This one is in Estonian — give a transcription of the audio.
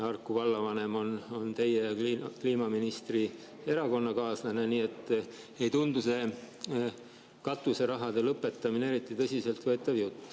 Harku vallavanem on teie ja kliimaministri erakonnakaaslane, nii et see katuserahade lõpetamise jutt ei tundu eriti tõsiseltvõetav.